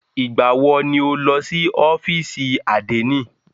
Ìgbà wọ ni o lọ sí ọ́fìsì àdénì?